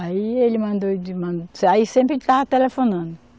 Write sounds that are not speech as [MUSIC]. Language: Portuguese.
Aí ele mandou. [UNINTELLIGIBLE] Aí sempre estava telefonando.